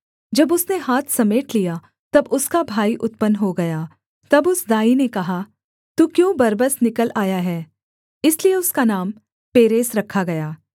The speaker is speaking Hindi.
जब उसने हाथ समेट लिया तब उसका भाई उत्पन्न हो गया तब उस दाई ने कहा तू क्यों बरबस निकल आया है इसलिए उसका नाम पेरेस रखा गया